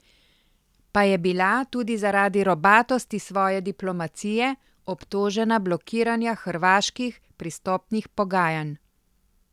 Pa je bila, tudi zaradi robatosti svoje diplomacije, obtožena blokiranja hrvaških pristopnih pogajanj.